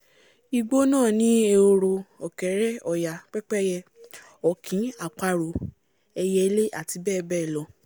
igbó náà ni ehoro ọ̀kẹ́rẹ́ ọ̀yà pẹ́pẹ́íyẹ ọ̀kín àparò ẹiyẹlé àti bẹ́ẹ̀bẹ́ẹ̀lọ